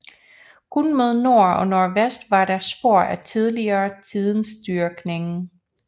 Kun mod nord og nordvest var der spor af tidligere tiders dyrkning